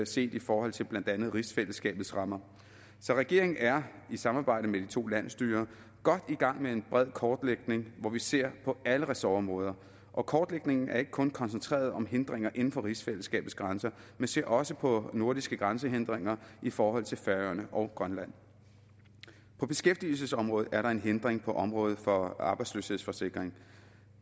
set i forhold til blandt andet rigsfællesskabets rammer så regeringen er i samarbejde med de to landsstyrer godt i gang med en bred kortlægning hvor vi ser på alle ressortområder og kortlægningen er ikke kun koncentreret om hindringer inden for rigsfællesskabets grænser men ser også på nordiske grænsehindringer i forhold til færøerne og grønland på beskæftigelsesområdet er der en hindring på området for arbejdsløshedsforsikring